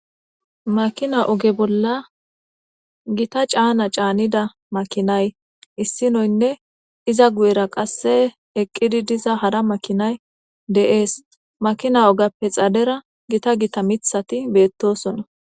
makina oge bolla gita caana caanida makinay issinoynne iza guyera qasse eqqidi diza hara makinay dees makina ogappe xadera gita gita mithati beettosona